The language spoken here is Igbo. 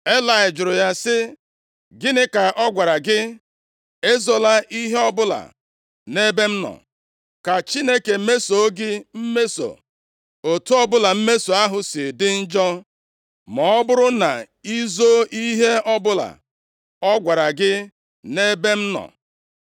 Elayị jụrụ ya sị, “Gịnị ka ọ gwara gị? Ezola ihe ọbụla nʼebe m nọ. Ka Chineke mesoo gị mmeso, otu ọbụla mmeso ahụ si dị njọ, ma ọ bụrụ na i zoo ihe ọbụla ọ gwara gị nʼebe m nọ.”